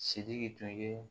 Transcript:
Sidiki tun ye